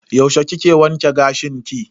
Yaushe kike wanke gashin ki?